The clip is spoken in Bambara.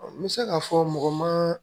N bɛ se k'a fɔ mɔgɔ ma